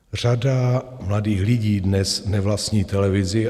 Řada mladých lidí dnes nevlastní televizi.